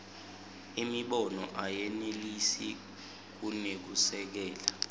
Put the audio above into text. imibono ayenelisi kunekusekela